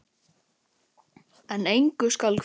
En engu skal kvíða.